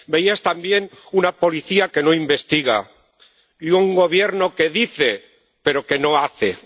Veías también una Policía que no investiga y un Gobierno que dice, pero que no hace.